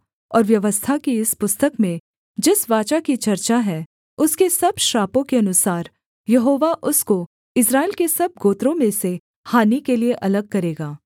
और व्यवस्था की इस पुस्तक में जिस वाचा की चर्चा है उसके सब श्रापों के अनुसार यहोवा उसको इस्राएल के सब गोत्रों में से हानि के लिये अलग करेगा